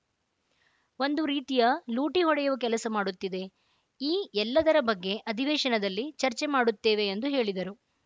ಒಂದು ರೀತಿಯ ಲೂಟಿ ಹೊಡೆಯುವ ಕೆಲಸ ಮಾಡುತ್ತಿದೆ ಈ ಎಲ್ಲದರ ಬಗ್ಗೆ ಅಧಿವೇಶನದಲ್ಲಿ ಚರ್ಚೆ ಮಾಡುತ್ತೇವೆ ಎಂದು ಹೇಳಿದರು